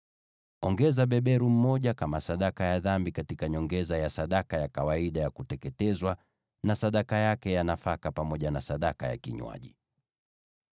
Weka beberu mmoja kama sadaka ya dhambi, kwa nyongeza ya kawaida ya sadaka ya kuteketezwa, na sadaka yake ya nafaka, pamoja na sadaka zao za vinywaji.